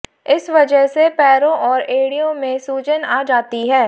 इस वजह से पैरों और एड़ियों में सूजन आ जाती है